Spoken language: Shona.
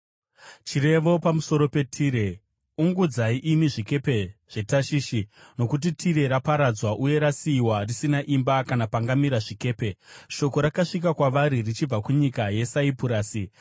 Chirevo pamusoro peTire: Ungudzai imi zvikepe zveTashishi! Nokuti Tire raparadzwa uye rasiyiwa risina imba kana pangamira zvikepe. Shoko rakasvika kwavari richibva kunyika yeSaipurasi.